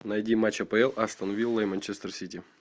найди матч апл астон вилла и манчестер сити